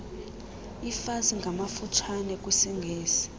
ifas ngamafutshane kwisingesi